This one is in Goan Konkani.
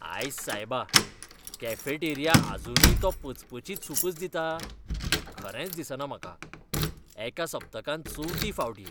आयस सायबा, कॅफेटेरिया आजुनूय तो पचपचीत सूपच दिता? खरेंच दिसना म्हाका. एका सप्तकांत चवथी फावट ही.